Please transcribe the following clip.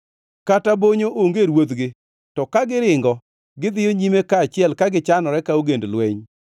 kata bonyo onge ruodhgi, to ka giringo gidhiyo nyime kaachiel ka gichanore ka ogend lweny.